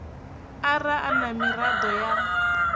ara a na miraḓo ya